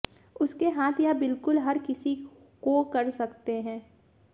उसके हाथ यह बिल्कुल हर किसी को कर सकते हैं